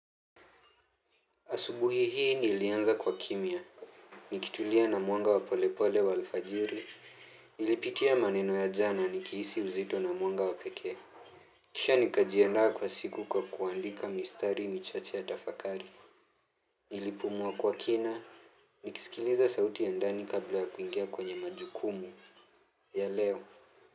Asubuhi hii nilianza kwa kimya, nikitulia na mwanga wa polepole wa alfajiri, nilipitia maneno ya jana nikihisi uzito na mwanga wa pekee. Kisha nikajiandaa kwa siku kwa kuandika mistari michache ya tafakari. Nilipumua kwa kina, nikisikiliza sauti ya ndani kabla ya kuingia kwenye majukumu. Ya leo.